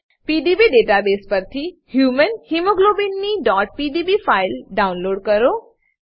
PDB database પરથી human hemoglobin ની pdbફાઈલ ડાઉન લોડ કરો